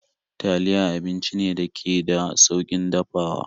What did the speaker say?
Taliya abinci ne dake da saukin dafawa